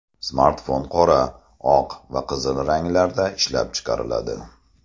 Smartfon qora, oq va qizil ranglarda ishlab chiqariladi.